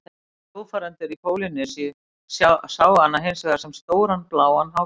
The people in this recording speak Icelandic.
Sjófarendur í Pólýnesíu sáu hana hins vegar sem stóran bláan hákarl.